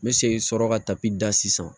N bɛ segin sɔrɔ ka da sisan